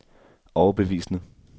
overbevisende